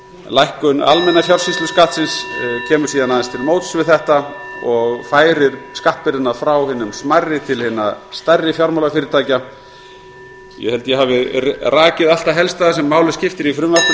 lækkun almenna fjársýsluskattsins kemur síðan aðeins til móts við þetta og færir skattbyrðina frá hinum smærri til hinna stærri fjármálafyrirtækja ég held að ég hafi rakið allt það helsta sem máli skiptir í frumvarpinu og legg